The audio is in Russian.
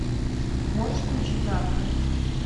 можешь включить нарко